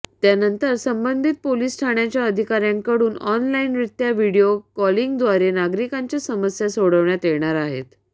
त्यानंतर संबंधित पोलीस ठाण्याच्या अधिकाऱ्यांकडून ऑनलाईनरित्या व्हिडिओ कॉलिंगद्वारे नागरिकांच्या समस्या सोडवण्यात येणार आहेत